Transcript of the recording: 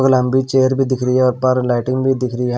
लंबी चेयर भी दिख रही है उप्पर लाइटिंग भी दिख रही है।